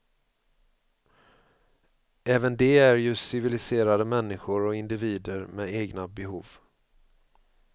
Även de är ju civiliserade människor och individer med egna behov.